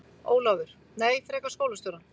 Ólafur: Nei, frekar skólastjórann.